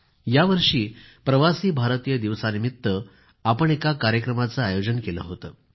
यावर्षी प्रवासी भारतीय दिवसानिमित्त आपण एका कार्यक्रमाचे आयोजन केले होते